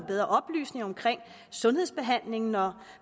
bedre oplysning om sundhedsbehandlingen